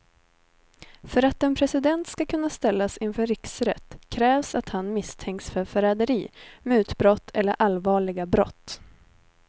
För att en president ska kunna ställas inför riksrätt krävs att han misstänks för förräderi, mutbrott eller allvarliga brott.